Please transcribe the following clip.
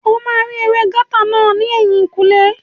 O máa rí ewé gáútà náà ní ẹ̀yìnkùlé